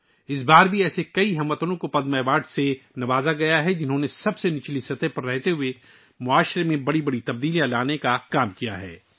اس بار بھی بہت سے ہم وطنوں کو پدم اعزاز سے نوازا گیا ہے جنھوں نے نچلی سطح سے جڑ کر سماج میں بڑی تبدیلی لانے کا کام کیا ہے